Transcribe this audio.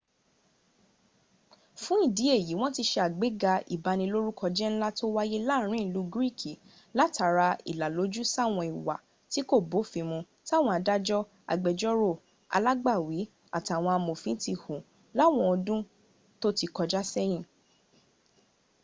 fún ìdí èyí, wọ́n ti se àgbéga ìbanilórúkọjẹ́ ńlá tó wáyé láàrin ìlú greek látara ìlàlójú sáwọn ìwà tí kò bófin mun táwọn adájọ́ agbẹ́jọ́rò alágbàwí àtàwọn amòfin ti hù láwọn ọdún tó ti kọjá sẹ́yìn